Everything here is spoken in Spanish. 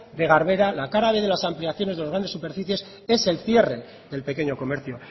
de garbera la cara b de las ampliaciones de las grandes superficies es el cierre del pequeño comercio